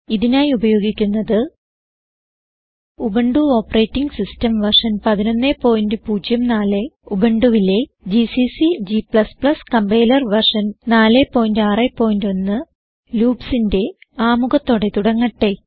ഇതിനായി ഉപയോഗിക്കുന്നത് Ubuntu operating system version 1104 ഉബുണ്ടുവിലെ ജിസിസി g കമ്പൈലർ വെർഷൻ 461 loopsന്റെ ആമുഖത്തോടെ തുടങ്ങട്ടെ